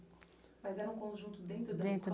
Mas era um conjunto dentro da escola?